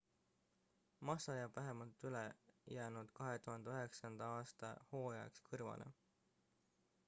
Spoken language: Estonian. massa jääb vähemalt ülejäänud 2009 aasta hooajaks kõrvale